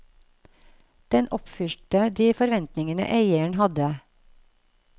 Den oppfylte de forventningene eieren hadde.